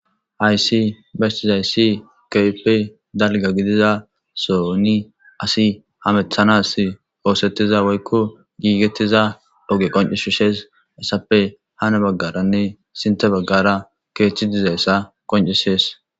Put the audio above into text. hayssi bestizay si keyppe dalga gidida soni asi hamethanas oosettiza woykko giigettiza oge qoncishu shees essappe hano baggaranne sinte baggara keethchi dizayssa qoncisees